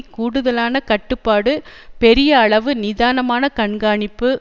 கூடுதலான கட்டுப்பாடு பெரிய அளவு நிதானமான கண்காணிப்பு